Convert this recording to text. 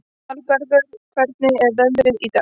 Aðalbergur, hvernig er veðrið í dag?